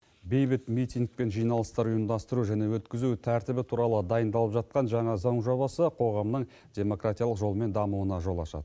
бейбіт митинг пен жиналыстар ұйымдастыру және өткізу тәртібі туралы дайындалып жатқан жаңа заң жобасы қоғамның демократиялық жолмен дамуына жол ашады